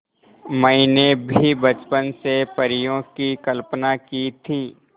मैंने भी बचपन से परियों की कल्पना की थी